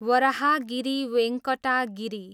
Varahagiri Venkata Giri